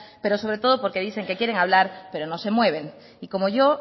pero sobre todo porque dicen que quieren hablar pero no se mueven y como yo